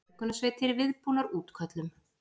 Björgunarsveitir viðbúnar útköllum